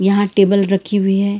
यहां टेबल रखी हुई हैं।